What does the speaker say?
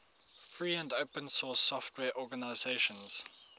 free and open source software organizations